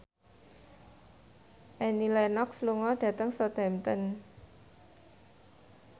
Annie Lenox lunga dhateng Southampton